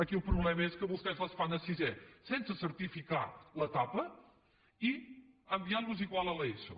aquí el problema és que vostès les fan a sisè sense certificar l’etapa i enviant los igual a l’eso